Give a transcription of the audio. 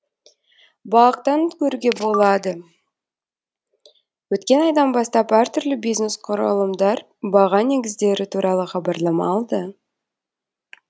бақ тан көруге болады өткен айдан бастап әртүрлі бизнес құрылымдар баға негіздері туралы хабарлама алды